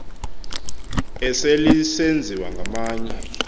esel isenziwa ngamanye